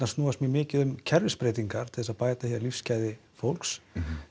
snúast mjög mikið um kerfisbreytingar til þess að bæta hér lífsgæði fólks